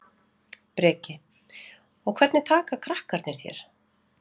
Breki: Og hvernig taka krakkarnir þér?